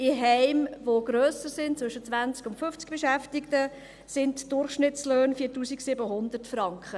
In Heimen, die grösser sind, zwischen 20 und 50 Beschäftigten, betragen die Durchschnittslöhne 4700 Franken.